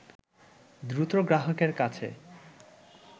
দ্রুত গ্রাহকের কাছে